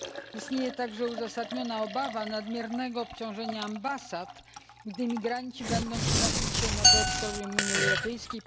Istnieje także uzasadniona obawa nadmiernego obciążenia ambasad, gdy migranci będą przemieszczać się po terytorium Unii Europejskiej.